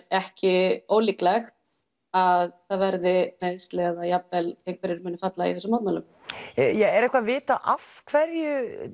ekki ólíklegt að það verði meiðsli eða jafnvel einhverjir sem munu falla í þessum mótmælum er eitthvað vitað af hverju